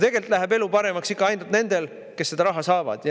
Tegelikult läheb elu paremaks ikka ainult nendel, kes seda raha saavad.